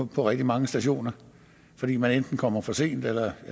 på rigtig mange stationer fordi man enten kommer for sent eller